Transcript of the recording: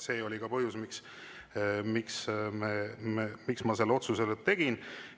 See oli ka põhjus, miks ma selle otsuse tegin.